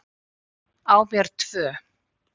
Á mér tvö.